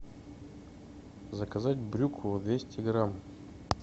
заказать брюкву двести грамм